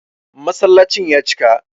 Masallacin ya cika